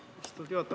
Austatud juhataja!